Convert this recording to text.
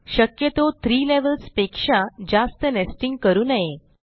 शक्यतो 3 लेव्हल्स पेक्षा जास्त नेस्टिंग करू नये